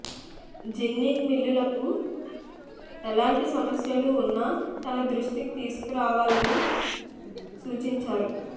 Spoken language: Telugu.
జిన్నింగ్ మిల్లులకు ఎలాంటి సమస్యలు ఉన్నా తన దృష్టికి తీసుకురావాలని సూచించారు